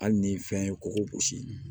Hali ni fɛn ye kɔgɔ gosi